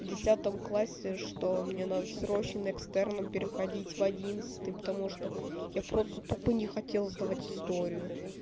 десятом классе что мне надо срочно экстерном переходить в одиннадцатый потому что я просто тупо не хотел сдавать историю